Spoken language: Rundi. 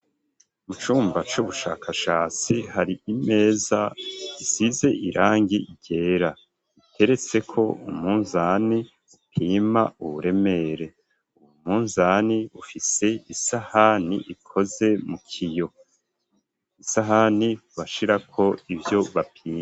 Mu cumba c'ubushakashatsi hari imeza isize irangi ryera iteretseko umunzani upima uburemere umunzani ufise isahani ikoze mu kiyo isahani bashirako ivyo bapima.